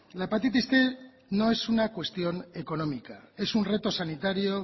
la hepatitis cien no es una cuestión económica es un reto sanitario